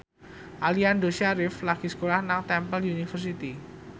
Aliando Syarif lagi sekolah nang Temple University